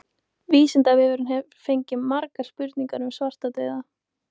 Vísindavefurinn hefur fengið margar spurningar um svartadauða.